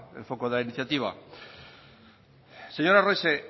el foco de la iniciativa señor arrese